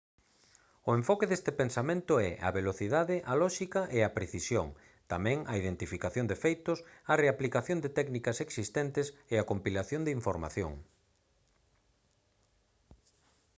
o enfoque deste pensamento é a velocidade a lóxica e a precisión tamén a identificación de feitos a reaplicación de técnicas existentes e a compilación de información